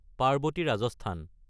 Parvati (Rajasthan)